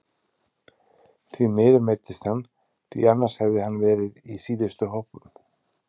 Því miður meiddist hann því annars hefði hann verið í síðustu hópum.